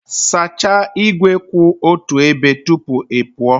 Sachaa igwe kwụ otu ebe tupu ị pụọ